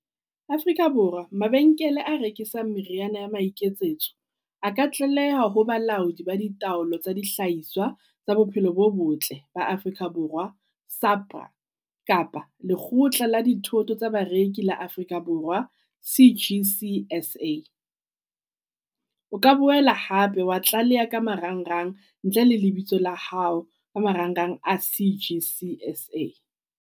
Afrika Borwa mabenkele a rekisang meriana ya maiketsetso a ka tlaleha ho balaodi ba di taolo tsa di hlahiswa tsa bophelo bo botle ba Afrika Borwa Sapra. Kapa lekgotla la dithoto tsa bareki la Afrika Borwa C_G_C S_A. O ka boela hape wa tlaleha ka marangrang ntle le lebitso la hao ka marang rang a C_G_C S_A.